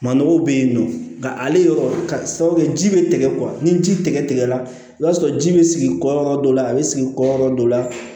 Manɔgɔw bɛ yen nɔ nka ale yɔrɔ ka sabu kɛ ji bɛ tigɛ ni ji tɛgɛ tigɛla i b'a sɔrɔ ji bɛ sigi kɔ dɔ la a bɛ sigi kɔyɔ dɔ la